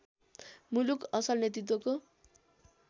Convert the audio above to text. मुलुक असल नेतृत्वको